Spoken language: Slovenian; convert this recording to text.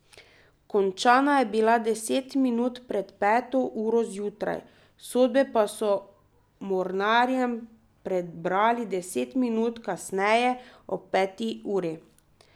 Končana je bila deset minut pred peto uro zjutraj, sodbe pa so mornarjem prebrali deset minut kasneje, ob peti uri.